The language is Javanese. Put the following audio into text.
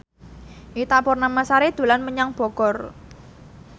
Ita Purnamasari dolan menyang Bogor